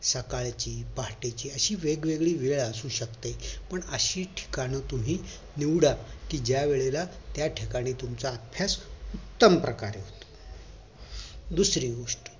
सकाळची पहाटेची अशी वेगवेगळी वेळ असू शकते पण अशी ठिकाण तुम्ही निवडा कि ज्या वेळेला त्या ठिकाणी तुमचा अभ्यास उत्तम प्रकारे होतो दुसरी गोष्ट